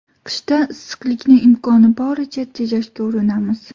Qishda issiqlikni imkoni boricha tejashga urinamiz.